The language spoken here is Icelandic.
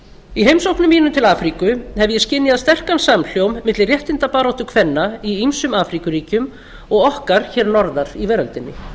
í heimsóknum mínum til afríku hef ég skynjað sterkan samhljóm milli réttindabaráttu kvenna í ýmsum afríkuríkjum og okkar hér norðar í veröldinni